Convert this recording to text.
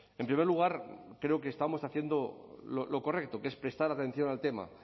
en primer lugar creo que estamos haciendo lo correcto que es prestar atención al tema